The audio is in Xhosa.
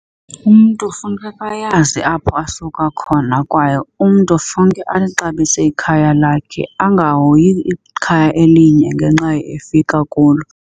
Umntu funeka ayazi apho asuka khona kwaye umntu funeke alixabise ikhaya lakhe. Angahoyi ikhaya elinye ngenxa efika kulo.